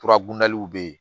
be yen